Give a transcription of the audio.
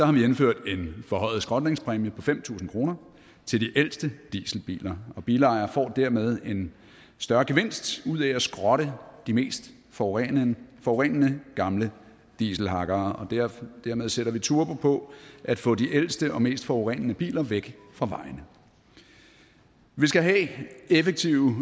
har vi indført en forhøjet skrotningspræmie på fem tusind kroner til de ældste dieselbiler og bilejere får dermed en større gevinst ud af at skrotte de mest forurenende forurenende gamle dieselhakkere dermed sætter vi turbo på at få de ældste og mest forurenende biler væk fra vejene vi skal have effektive